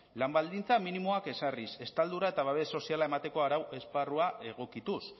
lan baldintza minimoak ezarriz estaldura eta babes soziala emateko arau esparrua egokituz